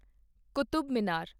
Qutub Minar